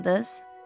Tanımadınız?